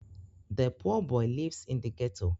Òåì íå ìåíåå ó ìåíÿ íåò.